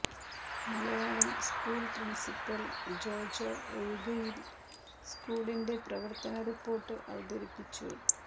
Malayalam school principal Jojo Ozhukayil സ്കൂളിന്റെ പ്രവർത്ത report അവതരിപ്പിച്ചു